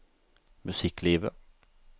musikklivet